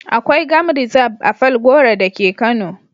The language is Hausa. Akwai gam rizab (game reserve) a Falgore da ke Kano.